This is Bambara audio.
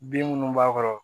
Bin minnu b'a kɔrɔ